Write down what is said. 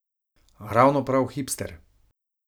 Ravno prav hipster!